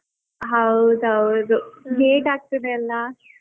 ಹೌದ್ ಹೌದು late ಆಗ್ತಿದೆ ಅಲ್ಲಾ.